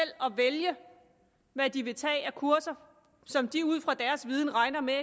vælge hvad de vil tage af kurser som de ud fra deres viden regner med